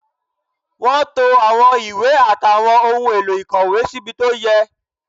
Wọ́n to àwọn ìwé àtàwọn ohun èlò ìkọ̀wé síbi tó yẹ